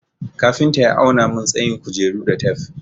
Kafinta ya auna mun tsayin kujeru da tef.